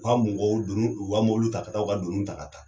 U ka mɔgɔw doni u ka mobiliw taa ka taa u ka donin ta ka taa.